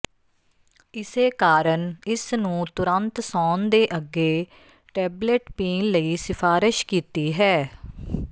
ਇਸੇ ਕਾਰਨ ਇਸ ਨੂੰ ਤੁਰੰਤ ਸੌਣ ਦੇ ਅੱਗੇ ਟੇਬਲੇਟ ਪੀਣ ਲਈ ਸਿਫਾਰਸ਼ ਕੀਤੀ ਹੈ